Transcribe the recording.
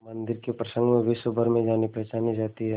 मंदिर के प्रसंग में विश्वभर में जानीपहचानी जाती है